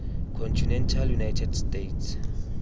continental united states